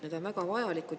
Need on väga vajalikud.